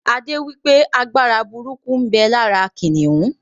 Adé wípé Agbára burúkú ń bẹ lára kìnnìún